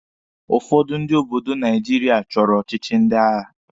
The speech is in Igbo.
Ụfọdụ ndị obodo Naijiria chọrọ ọchịchị ndị agha.